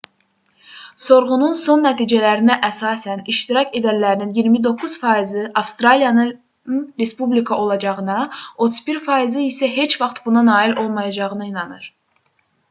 sorğunun son nəticələrinə əsasən iştirak edənlərin 29%-i avstraliyanın respublika olacağına 31%-i isə heç vaxt buna nail olmayacağına inanır